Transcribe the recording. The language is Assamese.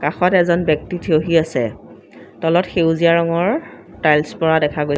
কাষত এজন ব্যক্তি থিয়হি আছে তলত সেউজীয়া ৰঙৰ টায়েলছ পৰা দেখা গৈ--